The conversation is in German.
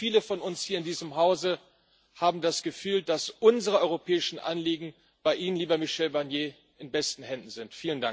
Ich glaube, viele von uns hier in diesem Hause haben das Gefühl, dass unsere europäischen Anliegen bei Ihnen, lieber Michel Barnier, in besten Händen sind.